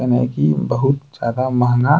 एमें है की बहुत ज्यादा महंगा --